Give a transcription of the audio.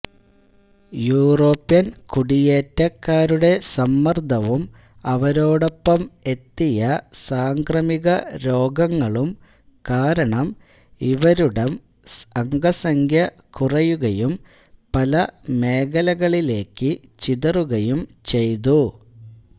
European കുടിയേറ്റക്കാരുടെ സമ്മർദ്ദവും അവരോടൊപ്പം എത്തിയ സാംക്രമിക രോഗങ്ങളും കാരണം ഇവരുടം അംഗസംഖ്യ കുറയുകയും പല മേഖലകളിലേയ്ക്കു ചിതറുകയും ചെയ്തു